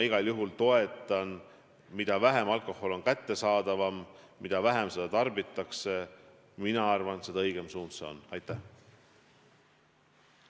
Igal juhul, mida vähem kättesaadav alkohol on, mida vähem seda tarbitakse, seda õigem suund see minu arvates on.